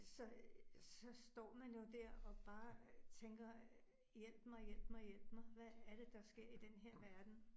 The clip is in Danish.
Så øh så står man jo der og bare tænker hjælp mig hjælp mig hjælp mig, hvad er det, der sker i denne her verden